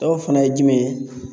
Dɔw fana ye jumɛn ye